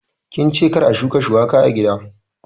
Kince kar a shuka shuwaka a gida?